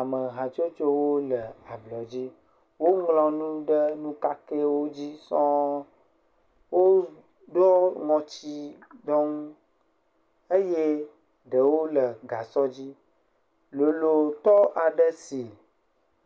Amehatsotsowo le ablɔdzi. Woŋlɔ nu ɖe nukakɛwo dzi sɔŋ. Woɖɔ ŋɔtsiɖɔnu eye ɖewo le gasɔdzi. Lolotɔ aɖe si